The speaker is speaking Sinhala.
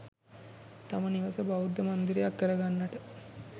තම නිවස බෞද්ධ මන්දිරයක් කර ගන්නට